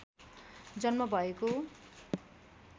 जन्म भएको